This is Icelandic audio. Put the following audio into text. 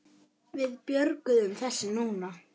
Alsæl en dálítið þreytt.